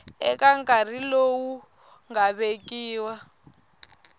eka nkarhi lowu nga vekiwa